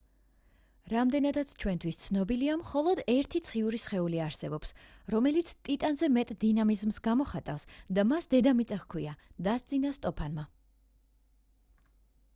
რამდენადაც ჩვენთვის ცნობილია მხოლოდ ერთი ციური სხეული არსებობს რომელიც ტიტანზე მეტ დინამიზმს გამოხატავს და მას დედამიწა ჰქვია დასძინა სტოფანმა